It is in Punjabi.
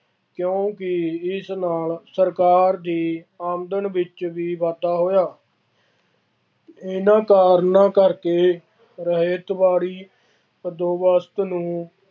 ਕਿਉਂਕਿ ਇਸ ਨਾਲ ਸਰਕਾਰ ਦੀ ਆਮਦਨ ਵਿੱਚ ਵੀ ਵਾਧਾ ਹੋਇਆ ਇਹਨਾ ਕਾਰਨਾਂ ਕਰਕੇ ਰਹਿਤਬਾੜੀ ਬੰਦੋਬਸਤ ਨੂੰ